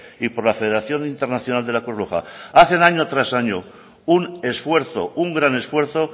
y por la federación internacional de la cruz roja hacen año tras año un esfuerzo un gran esfuerzo